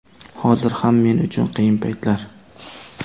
Hozir ham men uchun qiyin paytlar.